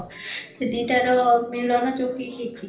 ସେ ଦିଇଟା ର ମିଳନ ଯଉଠି ହେଇଛି